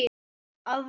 Að vori.